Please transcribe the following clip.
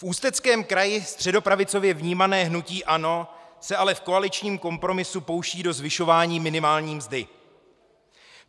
V Ústeckém kraji středopravicově vnímané hnutí ANO se ale v koaličním kompromisu pouští do zvyšování minimální mzdy.